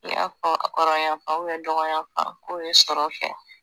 I y'a fɔ kɔrɔyanfan dɔgɔyanfan ko ye ye sɔrɔ kɛ.